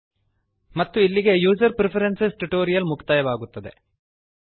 ಮತ್ತು ಇಲ್ಲಿಗೆ user preferences tutorial ಮುಕ್ತಾಯವಾಗುತ್ತದೆ